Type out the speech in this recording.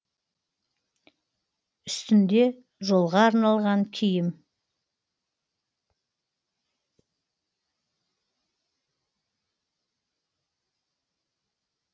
үстінде жолға арналған киім